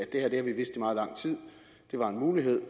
det var en mulighed